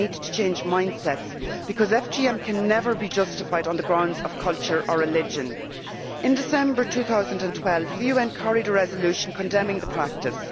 We need to change mindsets, because FGM can never be justified on the grounds of culture or religion. In December 2012, the UN carried a resolution condemning the practice.